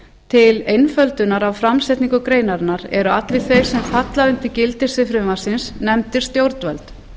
til einföldunar á framsetningu greinarinnar eru allir þeir sem falla undir gildissvið frumvarpsins nefndir stjórnvöld